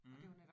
Mh